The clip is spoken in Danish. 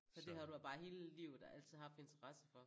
Så det har du bare hele livet altid haft interesse for